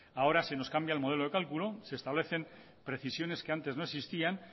ahora se nos cambia el modelo de cálculo se establecen precisiones que antes no existían